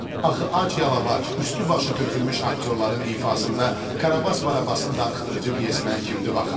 Axı ac-yalavac, üstü-başı tökülmüş aktyorların ifasında Karabas Barabasın darıxdırıcı pyesinə kimdir baxan?